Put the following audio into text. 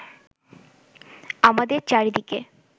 আমাদের চারিদিকে